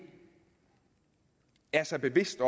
er sig bevidst